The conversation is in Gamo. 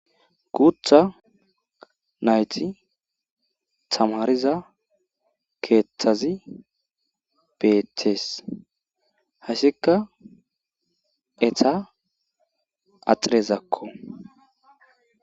Guutha nayt tamiraza keethazi bestest, haysaka eta axirezako.